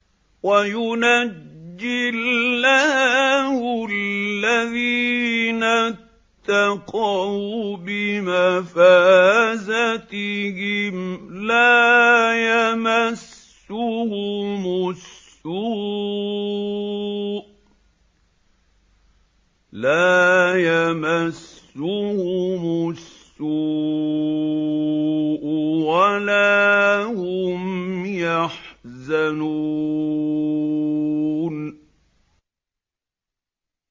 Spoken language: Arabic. وَيُنَجِّي اللَّهُ الَّذِينَ اتَّقَوْا بِمَفَازَتِهِمْ لَا يَمَسُّهُمُ السُّوءُ وَلَا هُمْ يَحْزَنُونَ